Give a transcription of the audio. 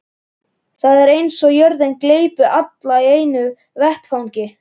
Það er eins og jörðin gleypi alla í einu vetfangi.